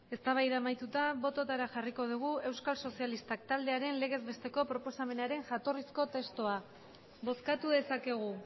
eztabaida amaituta bototara jarriko dugu euskal sozialistak taldearen legez besteko proposamenaren jatorrizko testua bozkatu dezakegu